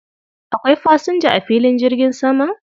Akwai fasinja a filin jirgin saman?